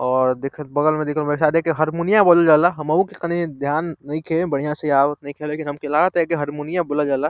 और देख बगल में शायद एके हरमुरिया बोलल जा ला। हमहु के तनी ध्यान नइखे बढ़िया से आवत नाइखे हमके लगता की एके हरमुरिया बोलल जा ला।